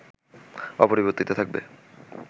অপরিবর্তিত থাকবে